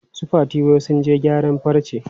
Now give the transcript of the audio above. Su Fati wai sun je gyaran farce.